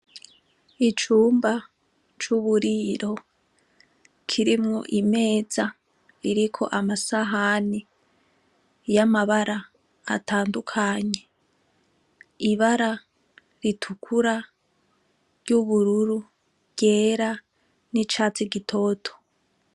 Icumba c'uburiro kirimwo imeza ririko amasahani y'amabara atandukanye ibara ritukura ry'ubururu ryera n'icatsi gitoto.